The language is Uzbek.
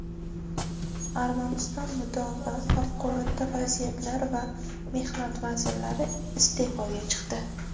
Armaniston mudofaa, favqulodda vaziyatlar va mehnat vazirlari iste’foga chiqdi.